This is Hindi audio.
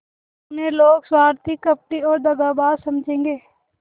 अब उन्हें लोग स्वार्थी कपटी और दगाबाज समझेंगे